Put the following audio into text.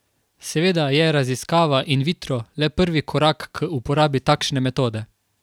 Seveda je raziskava in vitro, le prvi korak k uporabi takšne metode.